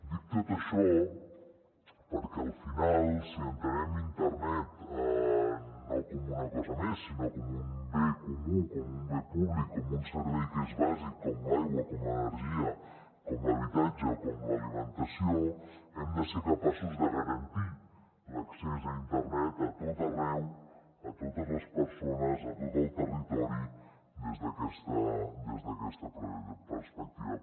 dic tot això perquè al final si entenem internet no com una cosa més sinó com un bé comú com un bé públic com un servei que és bàsic com l’aigua com l’energia com l’habitatge o com l’alimentació hem de ser capaços de garantir l’accés a internet a tot arreu a totes les persones a tot el territori des d’aquesta perspectiva